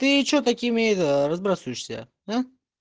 ты что таким это разбрасываешься